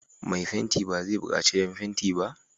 Mai fentin ba zai buƙaci jan fenti ba?